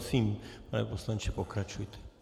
Prosím, pane poslanče, pokračujte.